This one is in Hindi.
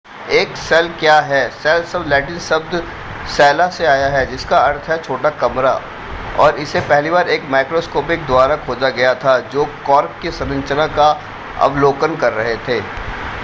एक सेल क्या है सेल शब्द लैटिन शब्द cella से आया है जिसका अर्थ है छोटा कमरा और इसे पहली बार एक माइक्रोस्कोपिस्ट द्वारा खोजा गया था जो कॉर्क की संरचना का अवलोकन कर रहे थे